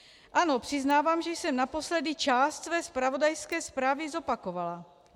Ano, přiznávám, že jsem naposledy část své zpravodajské zprávy zopakovala.